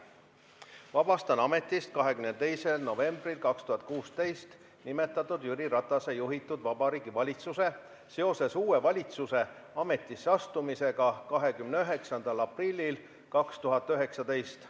Vabastan ametist 22. novembril 2016 nimetatud Jüri Ratase juhitud Vabariigi Valitsuse seoses uue valitsuse ametisse astumisega 29. aprillil 2019.